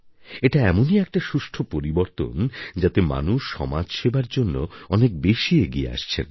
এটা এমনই একটা সুষ্ঠ পরিবর্তন যাতে মানুষ সমাজসেবার জন্য অনেক বেশি এগিয়ে আসছেন